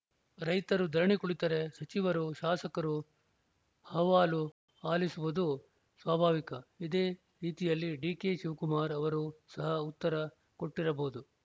ರೈತರು ಧರಣಿ ಕುಳಿತರೆ ಸಚಿವರು ಶಾಸಕರು ಅಹವಾಲು ಆಲಿಸುವುದು ಸ್ವಾಭಾವಿಕ ಇದೇ ರೀತಿಯಲ್ಲಿ ಡಿಕೆ ಶಿವಕುಮಾರ್‌ ಅವರೂ ಸಹ ಉತ್ತರ ಕೊಟ್ಟಿರಬಹುದು